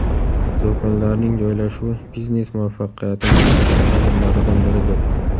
Do‘konlarning joylashuvi biznes muvaffaqiyatining muhim omillaridan biridir.